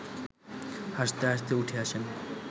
হাসতে হাসতে উঠে আসেন